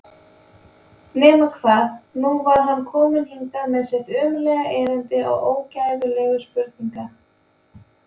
Nema hvað, nú var hann kominn hingað með sitt ömurlega erindi og ógæfulegu spurningar.